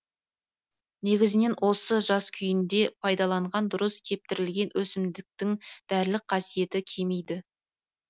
негізінен осы жас күйінде пайдаланған дұрыс кептірілген өсімдіктің дәрілік қасиеті кемиді